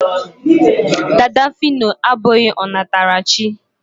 dada fino abụghị ọ natara chi